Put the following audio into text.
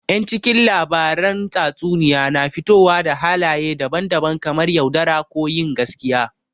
Yan cikin labaran tatsuniya na fitowa da halaye daban daban kamar yaudara, ko yin gaskiya